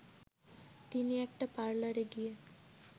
তিনি একটা পারলারে গিয়ে